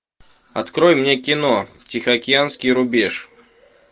открой мне кино тихоокеанский рубеж